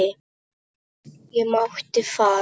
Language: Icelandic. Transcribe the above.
Ég mátti fara.